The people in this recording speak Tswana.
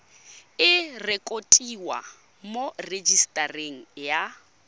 e rekotiwe mo rejisetareng ya